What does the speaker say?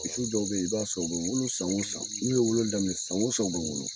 Misi dɔw be yen, i b'a sɔrɔ, u bɛ wolo san o san, n'u ye wolo daminɛ san o san u bɛ wolo.